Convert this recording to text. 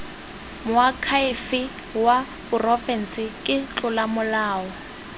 moakhaefe wa porofense ke tlolomolao